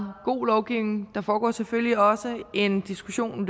god lovgivning der foregår selvfølgelig også løbende en diskussion